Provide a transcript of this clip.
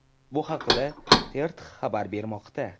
Bu haqda TRT xabar bermoqda .